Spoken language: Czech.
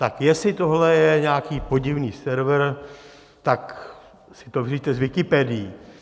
Tak jestli tohle je nějaký podivný server, tak si to vyřiďte s Wikipedií.